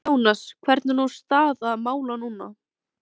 Jónas, hvernig er nú staða mála núna?